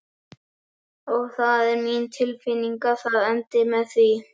Og það er mín tilfinning að það endi með því.